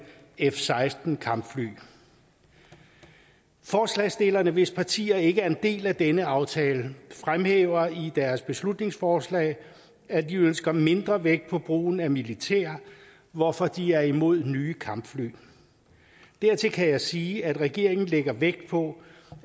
f seksten kampfly forslagsstillerne hvis partier ikke er en del af denne aftale fremhæver i deres beslutningsforslag at de ønsker mindre vægt på brugen af militær hvorfor de er imod nye kampfly dertil kan jeg sige at regeringen lægger vægt på